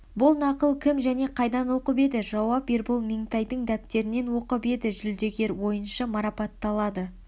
бұл нақыл кім және қайдан оқп еді жауап ербол меңтайдың дәптерінен оқып еді жүлдегер ойыншы марапатталады